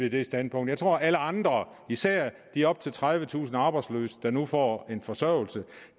i det standpunkt jeg tror alle andre især de op til tredivetusind arbejdsløse der nu får en forsørgelse